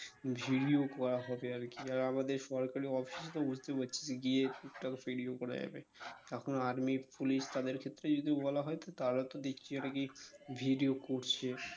video করা হবে আর কি আর আমাদের সরকারি office তো বুঝতেই পারছিস গিয়ে টুকটাক video করা যাবে এখন army police তাদের ক্ষেত্রেও যদি বলা হয় তো তারা তো দেখছি এটাকে video করছে